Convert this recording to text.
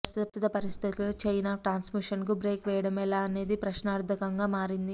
ప్రస్తుత పరిస్థితుల్లో chain of ట్రాన్స్మిషన్కు బ్రేక్ వేయడం ఎలా అనేది ప్రశ్నార్థకంగా మారింది